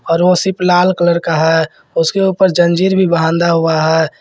और वह सिर्फ लाल कलर का है उसके ऊपर जंजीर भी बांधा हुआ है।